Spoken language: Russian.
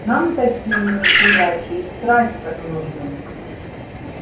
нам такие некурящие страсть как нужны